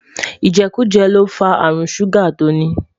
ijekuje l'ofa àrùn ṣuga tóní